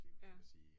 Ja